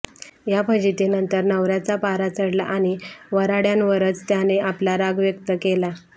या फजितीनंतर नवऱ्याचा पारा चढला आणि वऱ्हाड्यांवरच त्याने आपला राग व्यक्त केला